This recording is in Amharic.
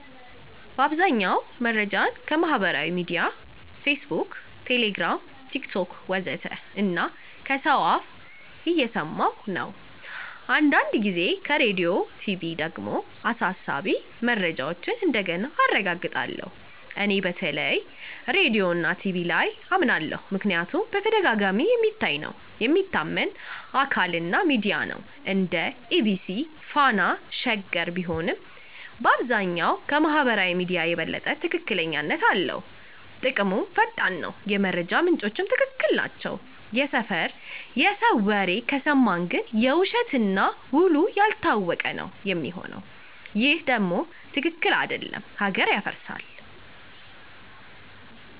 በአብዛኛው መረጃን ከማህበራዊ ሚድያ (Facebook, Telegram, TikTok ወዘተ) እና ከሰው አፍ እየሰማኩ ነው። አንዳንድ ጊዜ ከራዲዮና ቲቪ ደግሞ አሳሳቢ መረጃዎችን እንደገና አረጋግጣለሁ። እኔ በተለይ ራዲዮና ቲቪ ላይ አመናለሁ ምክንያቱም በተደጋጋሚ የሚታይ ነው፣ የሚታመን አካል እና ሚዲያ ነው (እንደ EBC፣ Fana፣ Sheger ቢሆንም)፣ በአብዛኛው ከማህበራዊ ሚዲያ የበለጠ ትክክለኛነትም አለው። ጥቅሙም ፈጣን ነው፣ የመረጃ ምንጮቹም ትክክል ናቸው። የሰፈር የሰው ወሬ ከሰማን ግን የውሸት እና ውሉ ያልታወቀ ነው ሚሆነው ይሄ ደም ትክክል አደለም ሀገር ያፈርሳል።